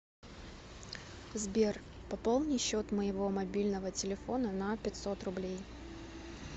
сбер пополни счет моего мобильного телефона на пятьсот рублей